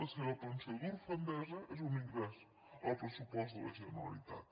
la seva pensió d’orfenesa és un ingrés al pressupost de la generalitat